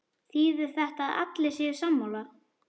Þýðir þetta að allir séu sammála?